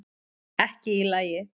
Ekki í lagi